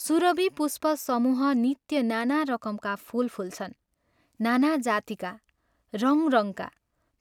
सुरभि पुष्पसमूह नित्य नाना रकमका फूल फुल्छन्, नाना जातिका, रङ्ग रङ्गका